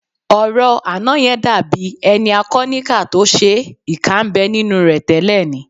Ọ̀rọ̀ àná yẹn dàbí ẹni a kọ níkà tó ṣe é, ìkà ń bẹ nínú rẹ tẹ́lẹ̀ ni